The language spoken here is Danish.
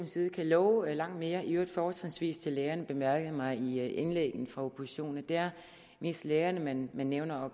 side kan love langt mere i øvrigt fortrinsvis til lærerne bemærkede mig i indlæggene fra oppositionen det er mest lærerne man nævner og